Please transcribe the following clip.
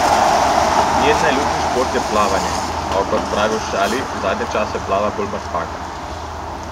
Njen najljubši šport je plavanje, a, kot pravi v šali, zadnje čase plava bolj mrtvaka.